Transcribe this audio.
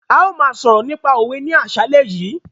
A máa sọ̀rọ̀ nípa òwe ní àsálẹ́ yìí.